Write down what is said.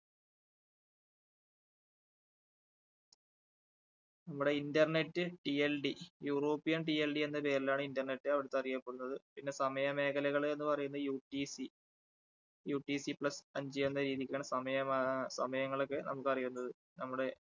നമ്മുടെ InternetTLDeuropeanTLD എന്ന പേരിലാണ് Internet അവിടുത്തെ അറിയപ്പെടുന്നത്. പിന്നെ സമയമേഖലകൾ എന്ന് പറയുന്നത് UTCUTCPlus അഞ്ച് എന്ന രീതിക്കാണ് സമയമാ~സമയങ്ങളൊക്കെ നമുക്ക് അറിയുന്നത്. നമ്മുടെ,